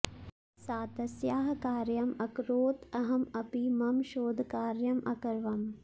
सा तस्याः कार्यम् अकरोत् अहम् अपि मम शोधकार्यम् अकरवम्